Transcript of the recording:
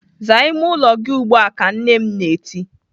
"Zaa ime ụlọ gị ugbu a!" Ka m nne m na-eti.